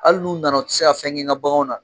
Hali n'u nana u ti se ka fɛn kɛ ŋa baganw na.